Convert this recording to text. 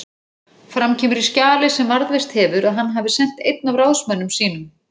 Fram kemur í skjali sem varðveist hefur að hann hafi sent einn af ráðsmönnum sínum